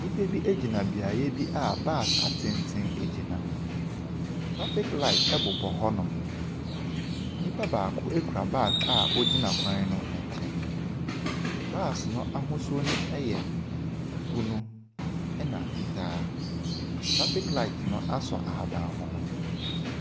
Nnipa bi gyina beaeɛ bi a buss atenten gyina. Traffic light bobɔ hɔnom. Nnipa baako kura bag a ɔgyina kwan no nkyɛn. Bus no ahosuo no yɛ bunu, ɛna fitaa. Traffic light no asɔ ahabammono.